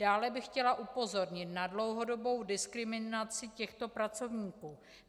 Dále bych chtěla upozornit na dlouhodobou diskriminaci těchto pracovníků.